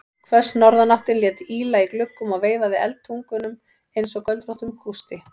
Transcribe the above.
Hvöss norðanáttin lét ýla í gluggum og veifaði eldtungunum einsog göldróttum kústi.